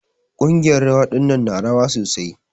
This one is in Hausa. Ƙungiyar rawa ɗinnan na rawa sosai.